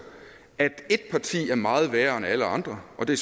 at ét parti er meget værre end alle andre og det